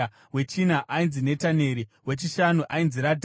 wechina ainzi Netaneri, wechishanu ainzi Radhai,